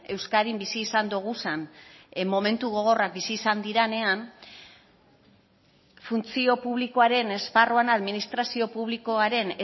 euskadin bizi izan doguzan momentu gogorrak bizi izan direnean funtzio publikoaren esparruan administrazio publikoaren